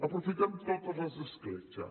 aprofitem totes les escletxes